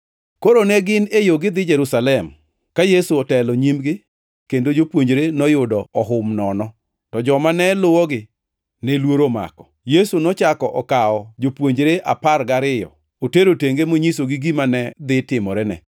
Koro ne gin e yo gidhi Jerusalem, ka Yesu otelo nyimgi kendo jopuonjre noyudo ohum nono, to joma ne luwogi ne luoro omako. Yesu nochako okawo jopuonjre apar gariyo otero tenge monyisogi gima ne dhi timorene.